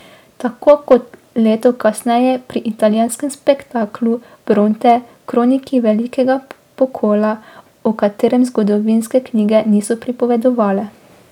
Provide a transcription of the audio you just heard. Tako kot leto kasneje pri italijanskem spektaklu Bronte, kroniki velikega pokola, o katerem zgodovinske knjige niso pripovedovale.